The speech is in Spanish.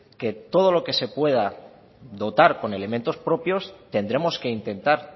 que todo lo que se pueda dotar con elementos propios tendremos que intentar